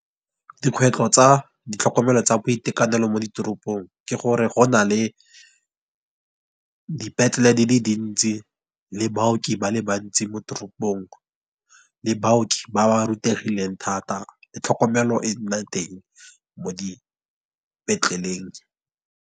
Dikgwetlho tsa ditlhokomelo tsa boitekanelo mo ditoropong. Ke gore go na le dipetlele di le dintsi, le baoki ba le bantsi, mo toropong le baoki ba ba rutegileng thata, le tlhokomelo e nna teng mo dipetleleng.